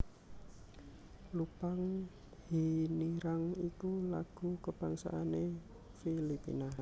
Lupang Hinirang iku lagu kabangsané Filipina